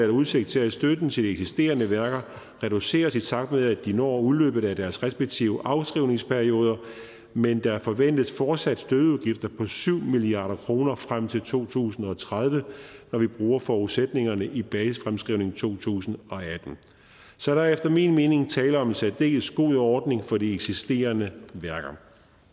udsigt til at støtten til de eksisterende værker reduceres i takt med at de når udløbet af deres respektive afskrivningsperioder men der forventes fortsat støtteudgifter på syv milliard kroner frem til to tusind og tredive når vi bruger forudsætningerne i basisfremskrivningen to tusind og atten så der er efter min mening tale om en særdeles god ordning for de eksisterende værker